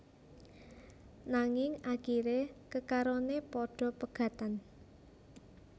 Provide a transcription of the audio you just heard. Nanging akiré kekaroné padha pegatan